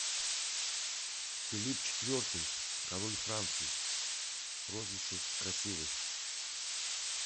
филипп четвертый король франции прозвище красивый